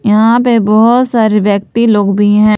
यहां पे बहोत सारे व्यक्ति लोग भी हैं।